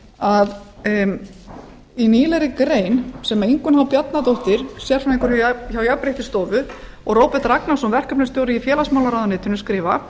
að nýlegri grein sem ingunn h bjarnadóttir sérfræðingur hjá jafnréttisstofu og róbert ragnarsson verkefnisstjóri í félagsmálaráðuneytinu skrifa